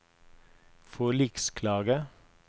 forliksklage